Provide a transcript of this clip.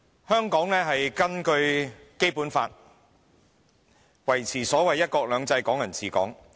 香港根據《基本法》，維持所謂"一國兩制"、"港人治港"。